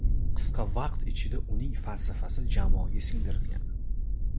Qisqa vaqt ichida uning falsafasi jamoaga singdirilgan.